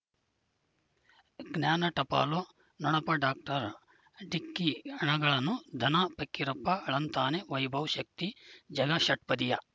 ಜ್ಞಾನ ಟಪಾಲು ನೊಣಪ ಡಾಕ್ಟರ್ ಢಿಕ್ಕಿ ಣಗಳನು ಧನ ಫಕೀರಪ್ಪ ಳಂತಾನೆ ವೈಭವ್ ಶಕ್ತಿ ಝಗಾ ಷಟ್ಪದಿಯ